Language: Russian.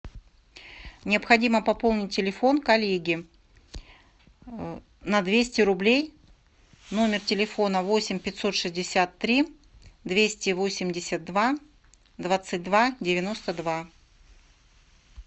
необходимо пополнить телефон коллеге на двести рублей номер телефона восемь пятьсот шестьдесят три двести восемьдесят два двадцать два девяносто два